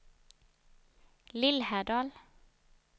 Lillhärdal